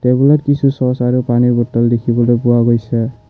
Table ত কিছু চচ আৰু পানীৰ বটল দেখিবলৈ পোৱা গৈছে।